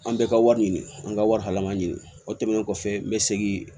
An bɛɛ ka wari ɲini an ka wari lama ɲini o tɛmɛnen kɔfɛ n bɛ segin